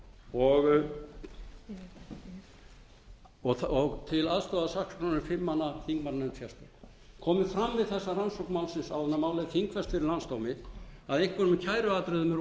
annað í þeim dúr til aðstoðar saksóknaranum er fimm manna þingmannanefnd komi fram við þessa rannsókn málsins áður en málið er þingfest fyrir landsdómi að einhverjum kæruatriðum